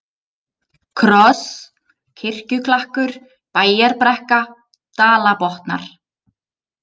Kross, Kirkjuklakkur, Bæjarbrekka, Dalabotnar